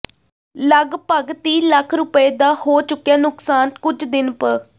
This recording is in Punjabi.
ਲਗਪਗ ਤੀਹ ਲੱਖ ਰੁਪਏ ਦਾ ਹੋ ਚੁੱਕਿਆ ਨੁਕਸਾਨ ਕੁੱਝ ਦਿਨ ਪ